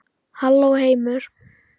Halló heimur!